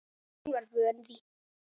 Hún var vön því.